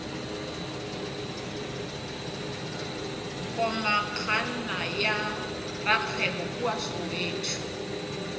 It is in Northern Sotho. komangkanna ya rakgwebo kua soweto